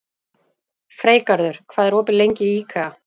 Freygarður, hvað er opið lengi í IKEA?